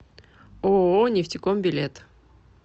ооо нефтеком билет